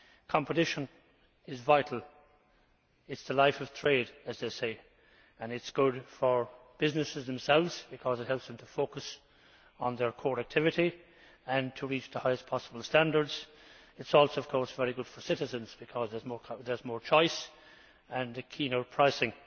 Competition is vital. It is the lifeblood of trade as they say, and it is good for businesses themselves because it helps them to focus on their core activity and to reach the highest possible standards. It is also very good for citizens because there is more choice and keener pricing.